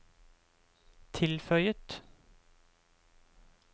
tilføyet